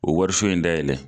O wariso in dayɛlɛ